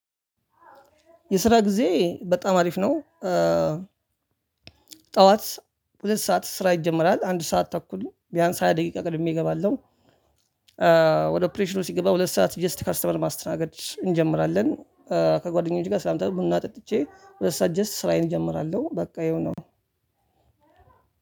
የስራ ጊዜ በጣም አሪፍ ነው። ጠዋት ሁለት ሰዓት ስራ ይጀመራል አንድ ሰዓት ተኩል ቢያንስ ሃያ ደቂቃ ቀድሜ እገባለው። ወደ ኦፕሬሽኑ ሲገባ ሁለት ሰዓት ጀስት ከስተመር ማስተናገድ እንጀምራለን። ከጓደኞቼ ጋር ስላምታውቅ ቡና ጠጥቼ ሁለት ሰዓት ጀስት ስራዬን እጀምራለሁ በቃ ይሄው ነው።